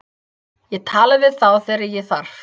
Ég tala við þá þegar ég þarf.